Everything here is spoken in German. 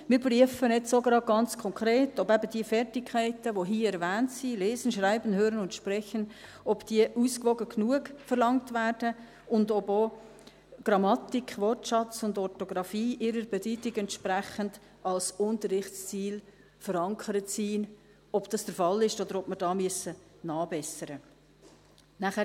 Wir prüfen jetzt auch gerade ganz konkret, ob eben diese Fertigkeiten, die hier erwähnt sind – lesen, schreiben, hören und sprechen –, ausgewogen genug verlangt werden, und ob auch Grammatik, Wortschatz und Orthographie ihrer Bedeutung entsprechend als Unterrichtsziel verankert sind, ob das der Fall ist, oder ob wir da nachbessern müssen.